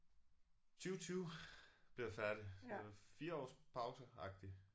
20 20 blev jeg færdig så 4 års pause agtig